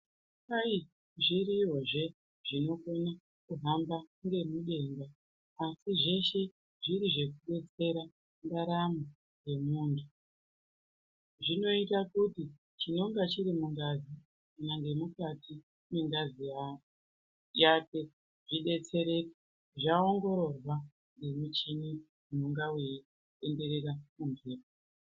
Kwai zviriyozve zvinokona kuhamba ngemudenga asi zveshe zviri zvekudetsera ndaramo yemuntu. Zvinoita kuti chinonga chiri mungazi kana nemukati mwengazi yake zveidetsereke zvaongororwa ngemichini inonga weitenderera ......